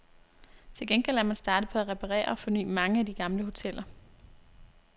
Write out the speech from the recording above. Til gengæld er man startet på at reparere og forny mange af de gamle hoteller.